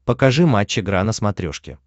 покажи матч игра на смотрешке